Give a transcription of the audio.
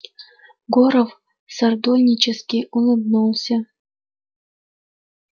горов сардонически улыбнулся